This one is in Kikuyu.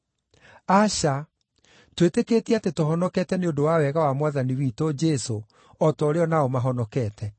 Aca! Twĩtĩkĩtie atĩ tũhonokete nĩ ũndũ wa wega wa Mwathani witũ Jesũ, o ta ũrĩa o nao mahonokete.”